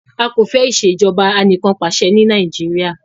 A kò fẹ́ ìṣèjọba anìkànpàṣẹ ní Nàìjíríà.